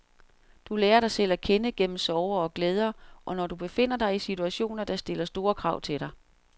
Du lærer dig selv at kende, gennem sorger og glæder, og når du befinder dig i situationer, der stiller store krav til dig.